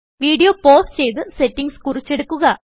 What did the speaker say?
video pause ചെയ്ത് settings കുറിച്ചെടുക്കുക